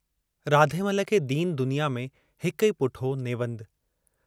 राधेमल खे दीन दुनिया में हिकु ई पुटु हो नेवंदु।